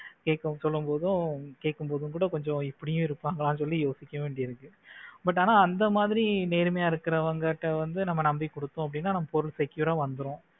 கேட்கும் சொல்லும்போது கேட்கும் போது கூட கொஞ்சம் இப்படி யும் இருக்காங்களா அப்படின்னு யோசிக்க வேண்டியதா இருக்கு but ஆனா அந்த மாதிரி நேர்மையா இருக்கிறவங்க கிட்ட வந்து நாம நம்பி கொடுத்தோம் அப்படின்னா நம்ம பொருள் secure ஆ வந்துடும்